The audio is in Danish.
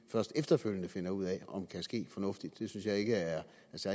først efterfølgende finder ud af om kan ske fornuftigt synes jeg ikke er